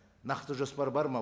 нақты жоспар бар ма